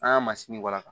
An ka masini waraka